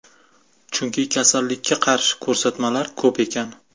Chunki kasallikka qarshi ko‘rsatmalari ko‘p ekan.